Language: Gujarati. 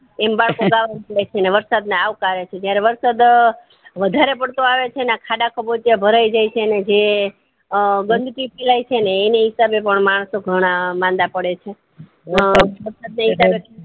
એમ આવતું ગય છે ને વર્સફ ને આવકારે છે જયારે વરદ વધારે પડતો આવે છે મેં ખાડા ખાબોચિયા ભરાય જાય છે ને અ ગંદકી ફેલાય છે ને એની હિસાબે પણ માણસો ઘણા મંડા પડે છે